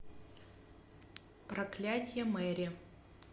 проклятие мэри